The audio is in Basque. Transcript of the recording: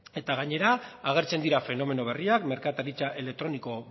gainera agertzen dira fenomeno berriak merkataritza elektronikoa